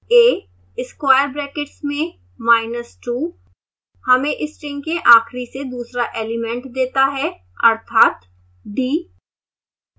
a square brackets में minus two हमें string के आखिरी से दूसरा एलिमेंट देता है अर्थात d